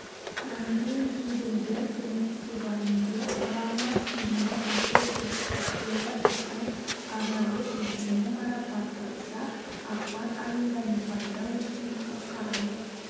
мангейм-хайдельберг кинофестивалінде оралман фильмі үздік жетістіктері үшін арнайы жүлдемен марапатталса ақпан айында непалда өткен халықаралық